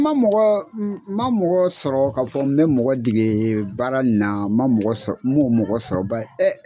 Ma mɔgɔ n ma mɔgɔ sɔrɔ ka fɔ n bɛ mɔgɔ degee baara n na ma mɔgɔ sɔr m'o mɔgɔ sɔrɔ bay